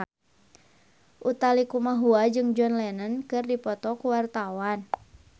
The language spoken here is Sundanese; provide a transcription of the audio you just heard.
Utha Likumahua jeung John Lennon keur dipoto ku wartawan